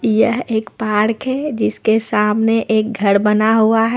यह एक पार्क है जिसके सामने एक घर बना हुआ है।